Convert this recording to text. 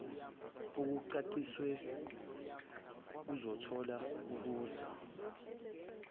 okucacisiwe kuzothola okuza